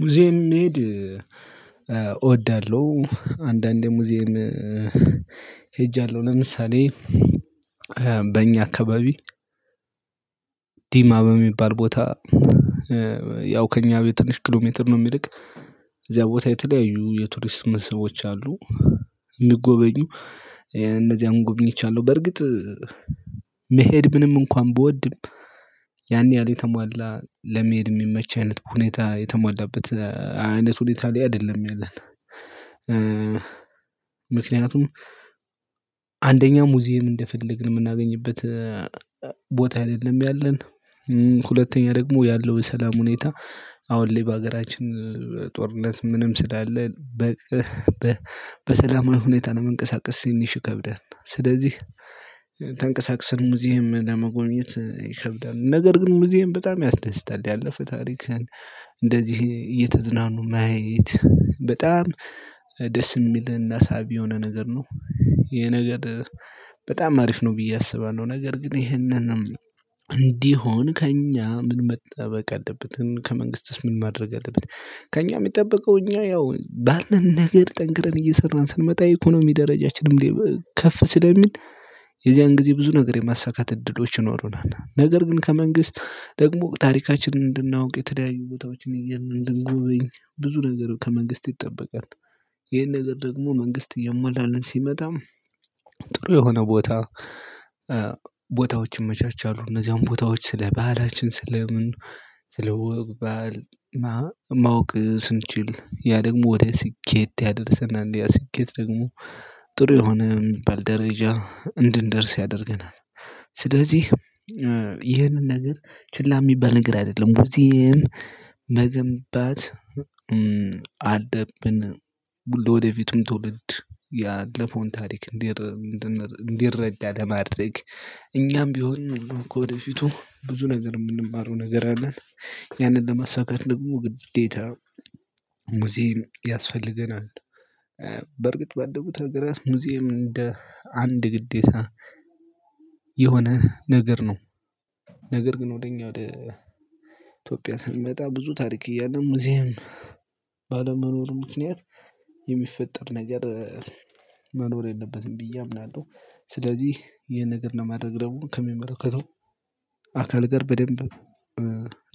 ሙዚየም መሄድ እወዳለሁ። አንዳንዴ ሙዚየም ሄጃለሁ። ለምሳሌ በእኛ አካባቢ ዲማ በሚባል ቦታ ያው ከእኛ ቤት ትንሽ ኪሎ ሜትር ነው ሚርቅ እዚያ ቦታ የተለያዩ የቱሪስት መስህቦች አሉ። ሚጎበኙ እነዚያን ጎበኝቻለሁ። በእርግጥ መሄድ ምንም እንኳን ብወድም ያን ያህል የተሟላ ለመሄድ ሚመች አይነት ሁኔታ የተሟላበት አይነት ሁኔታ ላይ አይደለም ያለን። ምክንያቱም አንደኛ ሙዚየም እንደፈለግን ምናገኝበት ቦታ አይደለም ያለን ሁለተኛ ደግሞ ያለው የሰላም ሁኔታ አሁን ላይ በሀገራችን ጦርነት ምንም ስላለ በሰላማዊ ሁኔታ ለመንቀሳቀስ ትኒሽ ይከብዳል። ስለዚህ ተንቀሳቅሰን ሙዚየም ለመጎብኘት ይከብዳል ነገር ግን ሙዚየም በጣም ያስደስታል። ያለፈ ታሪክህን እንደዚህ እየተዝናኑ ማየት በጣም ደስ ሚለን እና ሳቢ የሆነ ነገር ነው። ይሄ ነገር በጣም አሪፍ ነው ብዬ አስባለሁ። ነገር ግን ይሄንንም እንዲሆን ከእኛ ምን መጠበቅ አለበትን ከመንግስትስ ምን ማድረግ አለበት? ከእኛ ሚጠበቀው እኛ ያው ባለን ነገር ጠንክረን እየሰራን ስንመጣ ኢኮኖሚ ደረጃችንም ከፍ ስለሚል የዚያን ጊዜ ብዙ ነገር የማሳካት እድሎች ይኖሩናል ነገር ግን ከመንግስት ደግሞ ታሪካችን እንድናውቅ የተለያዩ ቦታዎችን እንድንጎበኝ ብዙ ነገር ከመንግስት ይጠበቃል። ይሄን ነገር ደግሞ መንግስት እያሟላልን ሲመጣ ጥሩ የሆነ ቦታ ቦታዎችን ይመቻቻሉ እነዚያን ቦታዎች ስለ ባህላችን ስለ ምን ስለ ወግ ባህል ማወቅ ስንችል ያ ደግሞ ወደ ስኬት ያደርሰናል ያ ስኬት ደግሞ ጥሩ የሆነ ሚባል ደረጃ እንድንደርስ ያደርገናል። ስለዚህ ይህንን ነገር ችላ እሚባል ነገር አይደለም በዚህም መገንባት አለብን ለወደፊቱም ትውልድ ያለፈውን ታሪክ እንዲረዳ ለማድረግ እኛም ቢሆን ከወደፊቱ ብዙ ነገር የምንማረው ነገር አለን ያንን ለማሳካት ደግሞ ግዴታ ሙዚም ያስፈልገናል። በርግጥ ባደጉት አገራት ሙዚየም እንደ አንድ ግዴታ የሆነ ነገር ነው። ነገር ግን ወደ እኛ ወደ ኢትዮጵያ ስንመጣ ብዙ ታሪክ እያለም ሙዚየም ባለመኖሩ ምክንያት የሚፈጠር ነገር መኖር የለበትም ብዬ አምናለሁ። ስለዚህ ይሄን ነገር ነው ማድረግ ደግሞ ከሚመለከተው አካል ጋር በደንብ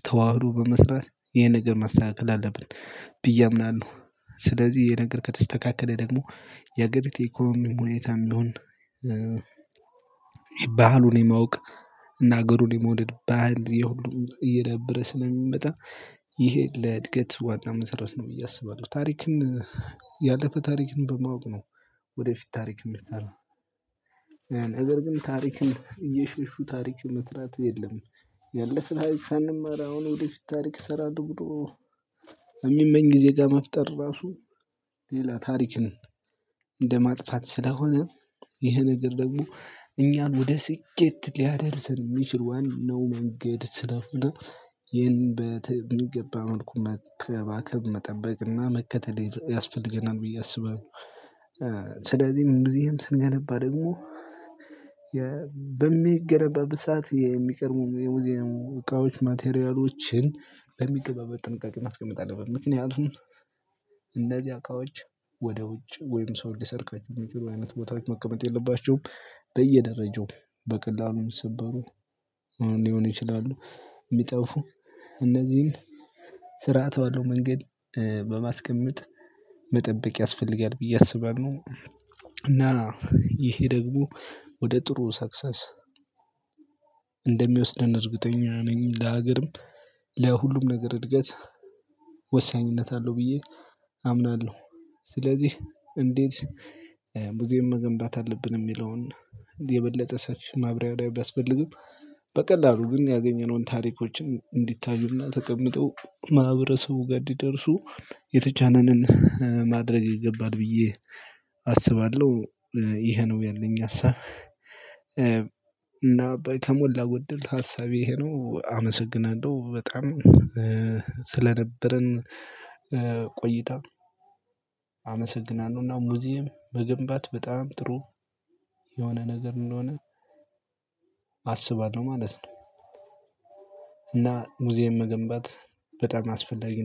ተዋህዶ በመስራት ይሄን ነገር መስተካከል አለብን ብዬ አምናለሁ። ስለዚህ ነገር ከተስተካከለ ደግሞ የአገሪቱ የኢኮኖሚ ሁኔታም ቢሆን ባህሉን የማወቅ እና አገሩን የመውደድ ባህል የሁሉም እየደበረ ስለሚመጣ ይሄ ለእድገት ዋና መሰረት ነው ብዬ አስባለሁ። ታሪክን ያለፈ ታሪክን በማወቅ ነው ወደፊት ታሪክ እሚሰራ ነገር ግን ታሪክን እየሸሹ ታሪክ መስራት የለም። ያለፈ ታሪክ ሳንማር አሁን ወደፊት ታሪክ እሰራለሁ ብሎ እሚመኝ ጊዜ ጋር መፍጠር ራሱ ሌላ ታሪክ እንደ ማጥፋት ስለሆነ ይህ ነገር ደግሞ እኛን ወደ ስኬት ሊያደርሰን ሚችል ዋናው መንገድ ስለሆነ ይህን በሚገባ መልኩ መከባከብ መጠበቅና መከተል ያስፈልገናል ብዬ አስባለሁ። ስለዚህም ሙዚየም ስንገነባ ደግሞ በሚገነባበት ሰዓት የሚቀድሙ የሙዚየሙ እቃዎች ማቴሪያሎችን በሚገባ በጥንቃቄ ማስቀመጥ አለብን ምክንያቱም እነዚህ አቃዎች ወደ ውጭ ወይም ሰው እንዲሰርቃቸው የሚችሉ አይነት ቦታዎች መቀመጥ የለባቸውም በየደረጃው በቀላሉም ሚሰበሩ ሊሆን ይችላሉ ሚጠፉ እነዚህን ስርዓት ባለው መንገድ በማስቀመጥ መጠበቅ ያስፈልጋል ብዬ አስባለሁ። እና ይሄ ደግሞ ወደ ጥሩ ሰክሰስ እንደሚወስደን እርግጠኛ ነኝ ለሀገርም ለሁሉም ነገር እድገት ወሳኝነት አለው ብዬ አምናለሁ። ስለዚህ እንዴት ሙዚየም መገንባት አለብን ሚለውን የበለጠ ሰፊ ማብራሪያ ቢያስፈልግም በቀላሉ ግን ያገኘነውን ታሪኮችን እንዲታዩና ተቀምጠው ማህበረሰቡ ጋር እንዲደርሱ የተቻለንን ማድረግ ይገባል ብዬ አስባለሁ። ይሄ ነው ያለኝ ሀሳብ። እና በከሞላ ጎደል ሀሳቤ ይሄ ነው አመሰግናለሁ በጣም ስለነበርን ቆይታ አመሰግናለሁ እና ሙዚየም መገንባት በጣም ጥሩ የሆነ ነገር እንደሆነ አስባለሁ ማለት ነው። እና ሙዚየም መገንባት በጣም አስፈላጊ ነው